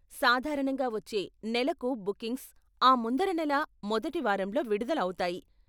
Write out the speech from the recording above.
సాధారణంగా వచ్చే నెలకు బుకింగ్స్ ఆ ముందర నెల మొదటి వారంలో విడుదల అవుతాయి.